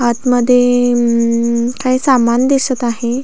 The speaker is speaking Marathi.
आतमध्ये अम्म काही सामान दिसत आहे.